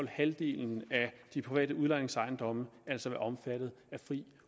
halvdelen af de private udlejningsejendomme altså være omfattet af fri